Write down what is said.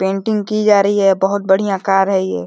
painting की जा रही है बहुत बढ़ियां कार है ये --